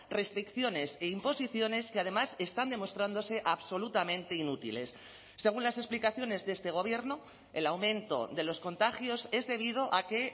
restricciones e imposiciones que además están demostrándose absolutamente inútiles según las explicaciones de este gobierno el aumento de los contagios es debido a que